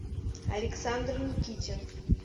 александр никитин